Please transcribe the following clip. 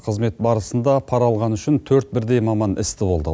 қызмет барысында пара алғаны үшін төрт бірдей маман істі болды